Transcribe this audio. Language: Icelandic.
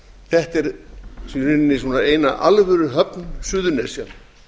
þetta er í rauninni sú eina alvöruhöfn suðurnesja